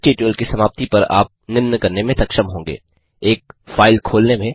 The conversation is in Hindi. इस ट्यूटोरियल की समाप्ति पर आप निम्न करने में सक्षम होंगे एक फ़ाइल खोलने में